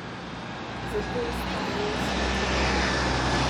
Zato ostajajo v službi.